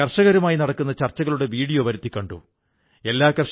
അതുകൊണ്ട് നിങ്ങൾ സ്വയം വെല്ലുവിളികൾ ഉയർത്തിക്കൊണ്ടേ ഇരിക്കൂ